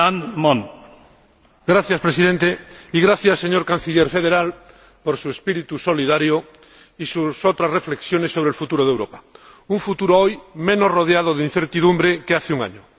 Señor Presidente, señor Canciller Federal, le agradezco su espíritu solidario y sus otras reflexiones sobre el futuro de Europa, un futuro hoy menos rodeado de incertidumbre que hace un año.